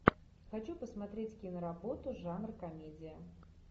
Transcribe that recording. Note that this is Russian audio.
хочу посмотреть киноработу жанр комедия